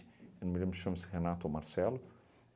Eu não me lembro se chama-se Renato ou Marcelo.